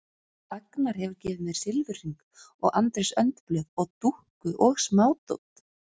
Agnar hefur gefið mér silfurhring og Andrés önd blöð og dúkku og smádót.